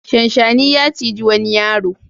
Shanshani ya ciji wani yaro.